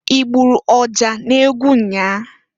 Igburu ọja n'egwu nnyaa?